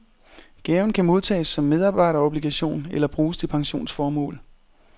Gaven kan modtages som medarbejderobligation eller bruges til pensionsformål.